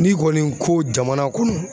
N'i kɔni ko jamana kunun